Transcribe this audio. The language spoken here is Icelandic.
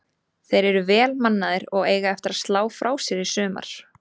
Þeir eru vel mannaðir og eiga eftir að slá frá sér í sumar.